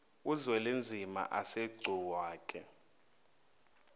uzwelinzima asegcuwa ke